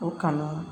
O kanu